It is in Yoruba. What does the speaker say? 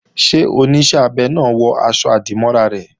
Ṣé Oníṣẹ́ abẹ náà wọ aṣọ-àdìmọ́ra rẹ̀?